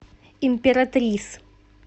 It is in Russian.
императрис